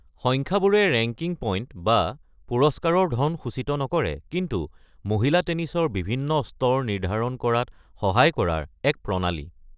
সংখ্যাবোৰে ranking point, বা পুৰষ্কাৰৰ ধন সূচিত নকৰে, কিন্তু মহিলা টেনিছৰ বিভিন্ন স্তৰ নিৰ্ধাৰণ কৰাত সহায় কৰাৰ এক প্ৰণালী।